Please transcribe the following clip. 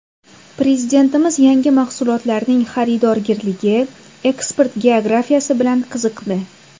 Prezidentimiz yangi mahsulotlarning xaridorgirligi, eksport geografiyasi bilan qiziqdi.